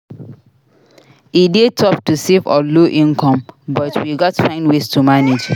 E dey tough to save on low income but we gats find ways to manage.